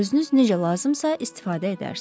Özünüz necə lazımsa istifadə edərsiz.